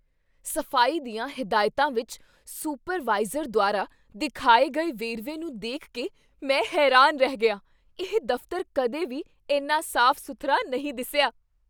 ਸਫ਼ਾਈ ਦੀਆਂ ਹਿਦਾਇਤਾਂ ਵਿੱਚ ਸੁਪਰਵਾਈਜ਼ਰ ਦੁਆਰਾ ਦਿਖਾਏ ਗਏ ਵੇਰਵੇ ਨੂੰ ਦੇਖ ਕੇ ਮੈਂ ਹੈਰਾਨ ਰਹਿ ਗਿਆ ਇਹ ਦਫ਼ਤਰ ਕਦੇ ਵੀ ਇੰਨਾ ਸਾਫ਼ ਸੁਥਰਾ ਨਹੀਂ ਦਿਸਿਆI